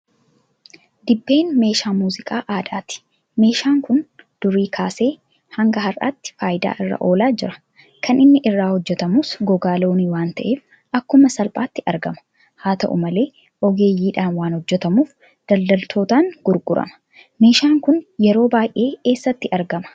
Dibbeen meeshaa muuziqaa aadaati. Meeshaan kun durii kaasee hanga har'aatti faayidaa irra oolaa jira .Kan inni irraa hojjetamus gogaa Loonii waanta'eef akkuma salphaatti argama. Haata'u malee ogeeyyiidhaan waan hojjetamuuf daldaltootaan gurgurama. Meeshaan kun yeroo baay'ee eessatti argama?